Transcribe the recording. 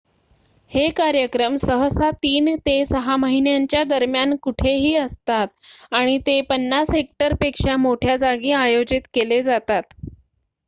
हे कार्यक्रम सहसा 3 ते 6 महिन्यांच्या दरम्यान कुठेही असतात आणि ते 50 हेक्टरपेक्षा मोठ्या जागी आयोजित केले जातात